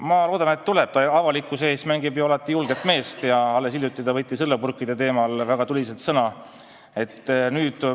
Ma loodan, et tuleb, ta ju avalikkuse ees mängib alati julget meest ja alles hiljuti võttis õllepurkide teemal väga tuliselt sõna.